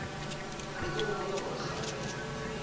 be ke gopola gore kgarebe